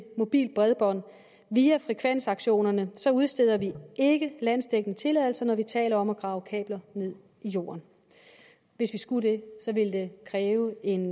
mobilt bredbånd via frekvensaktionerne så udsteder vi ikke landsdækkende tilladelser når vi taler om at grave kabler ned i jorden hvis vi skulle det ville det kræve en